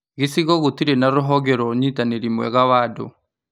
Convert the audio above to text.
Gĩcigo gĩtirĩ na rũhonge rwa ũnyitanĩrĩ mwega wa andũ